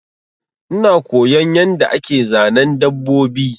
Ina koyon yanda ake Zanen dabbobi